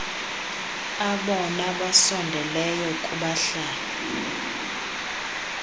abona basondeleyo kubahlali